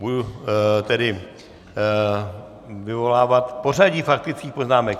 Budu tedy vyvolávat pořadí faktických poznámek.